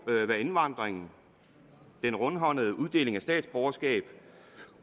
hvad indvandringen den rundhåndede uddeling af statsborgerskab